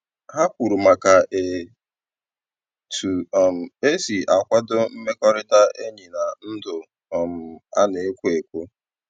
Ha kwuru maka e tu um esi a kwado mmekọrịta enyi na ndụ um a na-ekwo ekwo